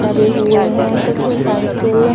लगे हुए है कुछ साइकिल --